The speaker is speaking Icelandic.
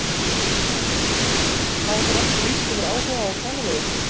Sindri: Hafa þeir ekki lýst yfir áhuga á að tala við ykkur?